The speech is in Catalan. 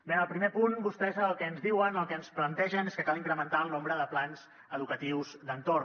bé en el primer punt vostès el que ens diuen el que ens plantegen és que cal incrementar el nombre de plans educatius d’entorn